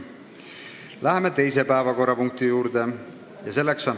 Läheme teise päevakorrapunkti juurde.